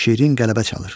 Şirin qələbə çalır.